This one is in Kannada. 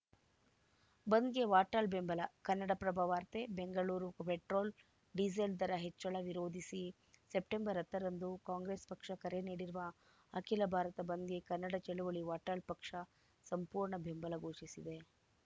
ಬಂದ್‌ಗೆ ವಾಟಾಳ್‌ ಬೆಂಬಲ ಕನ್ನಡಪ್ರಭ ವಾರ್ತೆ ಬೆಂಗಳೂರು ಪೆಟ್ರೋಲ್‌ ಡೀಸೆಲ್‌ ದರ ಹೆಚ್ಚಳ ವಿರೋಧಿಸಿ ಸೆಪ್ಟೆಂಬರ್ ಹತ್ತರಂದು ಕಾಂಗ್ರೆಸ್‌ ಪಕ್ಷ ಕರೆ ನೀಡಿರುವ ಅಖಿಲ ಭಾರತ ಬಂದ್‌ಗೆ ಕನ್ನಡ ಚಳವಳಿ ವಾಟಾಳ್‌ಪಕ್ಷ ಸಂಪೂರ್ಣ ಬೆಂಬಲ ಘೋಷಿಸಿದೆ